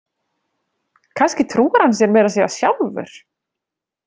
Kannski trúir hann sér meira að segja sjálfur!